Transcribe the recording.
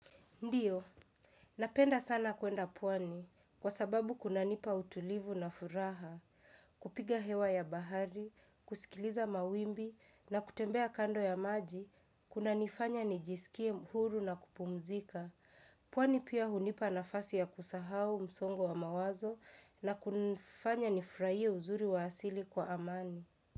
Ndiyo, napenda sana kuenda pwani kwa sababu kunanipa utulivu na furaha, kupiga hewa ya bahari, kusikiliza mawimbi na kutembea kando ya maji, kuna nifanya nijisikie huru na kupumzika. Pwani pia hunipa nafasi ya kusahau msongo wa mawazo na kunifanya nifurahie uzuri wa asili kwa amani.